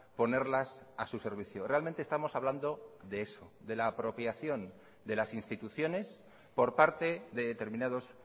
ponerlas a su servicio realmente estamos hablando de eso de la apropiación de las instituciones por parte de determinados